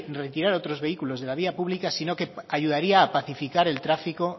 otros vehículos de la vía pública sino que ayudaría a pacificar el tráfico